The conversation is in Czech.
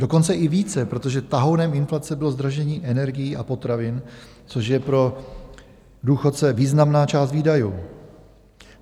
Dokonce i více, protože tahounem inflace bylo zdražení energií a potravin, což je pro důchodce významná část výdajů.